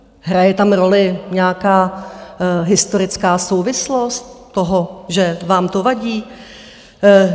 Hraje tam roli nějaká historická souvislost toho, že vám to vadí?